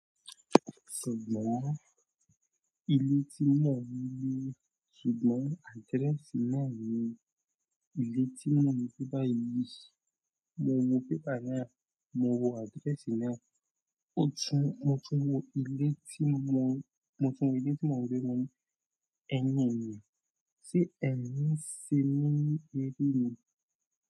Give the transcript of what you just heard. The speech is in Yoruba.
Ṣùgbọ́n ilé tí mò ń gbé, ṣùgbọ́n adrẹ́sì náà ni ilé tí mò ń gbé báyìí. Mo wo pépà náà, mo wo adrẹ́sì náà. O tún, mo tún wo ilé tí mò ń, mo tún wo ilé tí mò ń gbé mọ́ ní, ẹ̀nìyàn ni, tí ẹ̀ ń sin mí níbí ni.